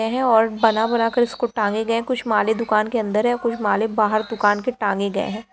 है और बना बना कर इसको टांगे गए हैं कुछ माले दुकान के अंदर हैं कुछ माले बाहर दुकान के टांगे गए हैं।